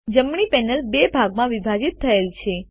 જમણી પેનલ બે ભાગમાં વિભાજિત થયેલ છે